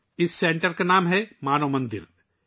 اس مرکز کا نام ' مانو مندر ' ہے